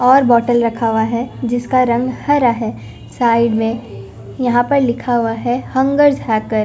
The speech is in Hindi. और बोटल रखा हुआ है जिसका रंग हरा है साइड में यहां पर लिखा हुआ है हंगर्स हैकर --